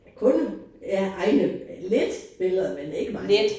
Kun af egne. Lidt billeder men ikke mange